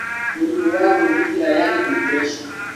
Mũrimũ wa gwĩthikĩra yaani depression